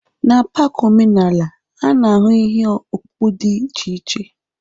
N'pak omenala, a na-ahụ ihe ọkpụkpụ dị iche iche